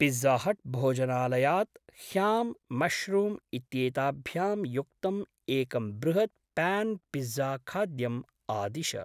पिज़्ज़ाहट्‌भोजनालयात् ham mushroom इत्येताभ्यां युक्तम् एकं बृहत् प्यान्‌ पिज़्ज़ाखाद्यम् आदिश।